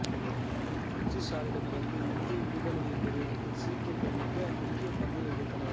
பிரிட்டிஷாரடமிருந்து இந்திய விடுதலையைப் பெறுவதற்கு சீக்கியர்கள் மிக முக்கிய பங்கை வகித்தனர்